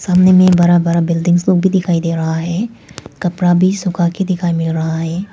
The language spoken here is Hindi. सामने में बड़ा बड़ा बिल्डिंग्स लोग भी दिखाई दे रहा है कपड़ा भी सुखाके दिखाई मिल रहा है।